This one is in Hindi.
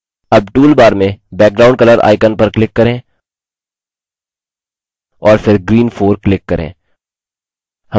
अब toolbar में background color icon पर click करें और फिर green 4 click करें